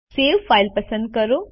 save file પસંદ કરો